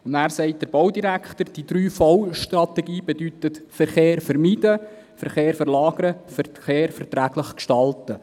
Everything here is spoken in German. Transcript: Der Baudirektor antwortet, die 3V-Strategie bedeute, Verkehr vermeiden, Verkehr verlagern und Verkehr verträglich gestalten.